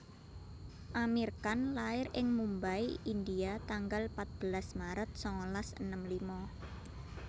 Aamir Khan lair ing Mumbai India tanggal patbelas maret sangalas enem lima